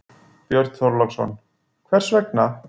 Björn Þorláksson: Hvers vegna?